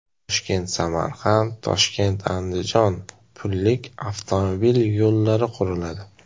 ToshkentSamarqand, ToshkentAndijon pullik avtomobil yo‘llari quriladi.